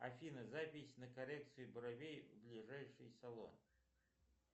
афина запись на коррекцию бровей в ближайший салон